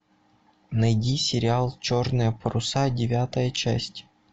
найди сериал черные паруса девятая часть